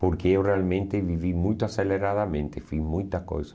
Porque eu realmente vivi muito aceleradamente, fiz muita coisa.